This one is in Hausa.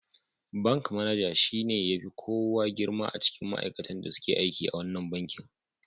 Ban manaja shi ne ya fi kowa girma a cikin ma'aikatan da suke aiki a wannan bankin.